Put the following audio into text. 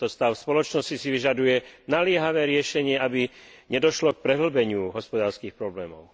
Tento stav spoločnosti si vyžaduje naliehavé riešenie, aby nedošlo k prehĺbeniu hospodárskych problémov.